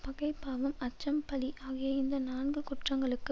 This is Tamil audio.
பகை பாவம் அச்சம் பழி ஆகிய இந்த நான்கு குற்றங்களுக்கு